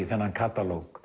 þennan